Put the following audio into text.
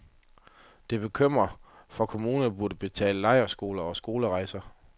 Det bekymrer, for kommunerne burde betale lejrskoler og skolerejser.